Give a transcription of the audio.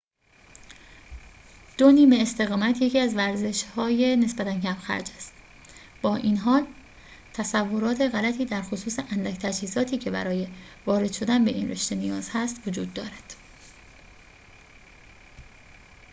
دو نیمه‌استقامت یکی از ورزش‌های نسبتاً کم‌خرج است با این حال تصورات غلطی درخصوص اندک تجهیزاتی که برای وارد شدن به این رشته نیاز است وجود دارد